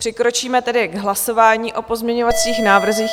Přikročíme tedy k hlasování o pozměňovacích návrzích.